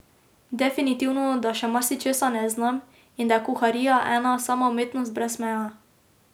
Definitivno, da še marsičesa ne znam in da je kuharija ena sama umetnost brez meja.